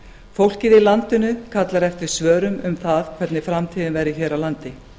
fólkið í landinu kallar eftir svörum um það hvernig framtíðin verður hér ár landi